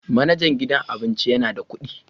Manajan gidan abincin yana da kuɗi